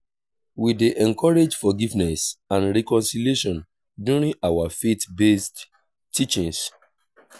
we dey encourage forgiveness and reconciliation during our faith-based teachings.